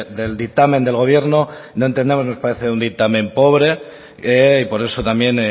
del dictamen del gobierno no entendemos nos parece un dictamen pobre y por eso también